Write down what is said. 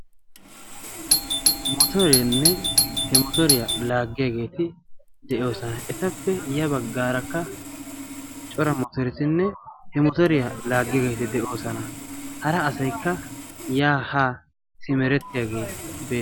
Motoreenne he motooriyaa laaggiyaageeti de'oosana. etappe ya baggaarakka cora mootoorisinne he motoriyaa laaggiyaageeti de'oosana. hara asaykka yaha simeretiyaagee.